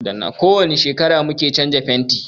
Ko wani shekara mu ke canza fentin.